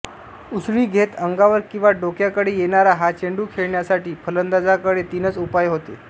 उसळी घेत अंगावर किंवा डोक्याकडे येणारा हा चेंडू खेळण्यासाठी फलंदाजाकडे तीनच उपाय होते